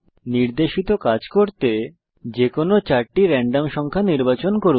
নির্দেশিত কাজ সমাধানের জন্য যেকোনো চারটি রেন্ডম সংখ্যা নির্বাচন করুন